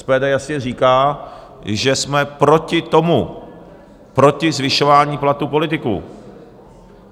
SPD jasně říká, že jsme proti tomu, proti zvyšování platů politiků.